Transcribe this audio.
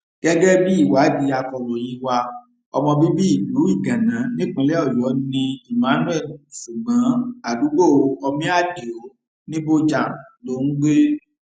gẹgẹ bíi ìwádìí akọròyìn wa ọmọ bíbí ìlú iganna nípínlẹ ọyọ ni emmanuel ṣùgbọn àdúgbò omiadio nibojàn ló ń gbé